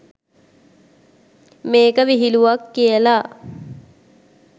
මේක විහිලුවක් කියලා